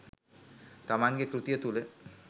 තමන්ගේ කෘතිය තුළ